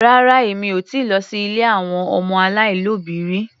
Rárá Èmi ò ti lọ sí ilé àwọn ọmọ aláìlóbìí rí.